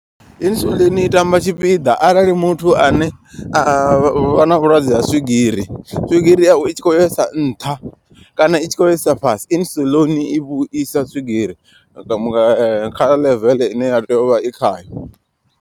Insulin i tamba tshipiḓa arali muthu ane a vha na vhulwadze ha swigiri. Swigiri yawe i tshi khou yesa nṱha kana i tshi khou yesa fhasi. Insulin i vhuisa swigiri nga kha ḽeveḽe ine ya tea uvha i khayo.